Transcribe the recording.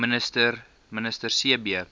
minister c b